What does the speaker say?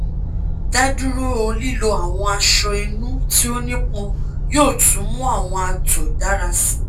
da duro lilo awọn aṣọ inu ti o nipọn yoo tun mu awọn ato dara si